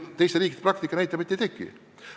Teiste riikide praktika näitab, et ei teki.